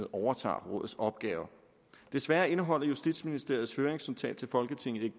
overtager rådets opgaver desværre indeholder justitsministeriets høringsnotat til folketinget ikke